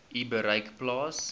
u bereik plaas